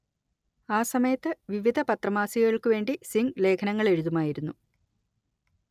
ആ സമയത്ത് വിവിധ പത്രമാസികകൾക്കുവേണ്ടി സിംഗ് ലേഖനങ്ങളെഴുതുമായിരുന്നു